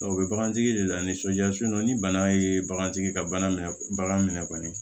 o bɛ bagantigi de la ni sojɔ so ni bana ye bagantigi ka bana minɛ bagan minɛ kɔni